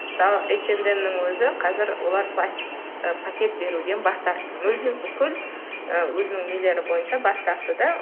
мысалы эйчендемнің өзі қазір олар пластик пакет беруден бас тартты мүлдем бүкіл ы өзінің нелері бойынша бас тартты да